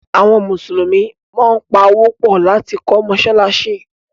àwọn Musulumi món pá Owó pọ lati kọ́ masalasi.